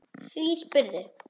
Hví spyrðu?